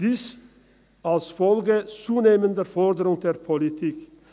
Dies als Folge zunehmender Forderungen der Politik.